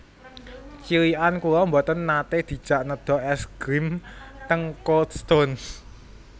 Cilikan kula mboten nate dijak nedha es grim teng Cold Stone